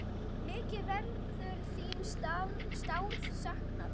Mikið verður þín sárt saknað.